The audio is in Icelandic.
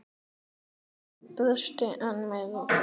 Stutt var á miðin.